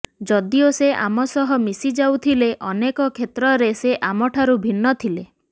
ଯଦିଓ ସେ ଆମ ସହ ମିଶିଯାଉଥିଲେ ଅନେକ କ୍ଷେତ୍ରରେ ସେ ଆମ ଠାରୁ ଭିନ୍ନ ଥିଲେ